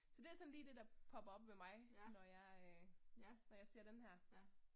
Så det er sådan lige det der popper op ved mig, når jeg æh når jeg ser denne her